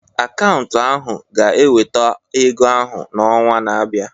Akaụntụ ahu ga-eweta ego ahụ n'ọnwa na-abịa.